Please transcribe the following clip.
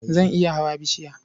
Zan iya hawa bishiya.